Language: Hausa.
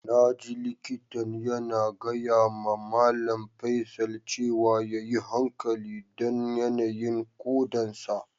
Na ji likitan yana gaya ma Mallam Faisal cewa ya yi hankali dan yanayin kodan sa.